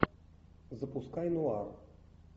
запускай нуар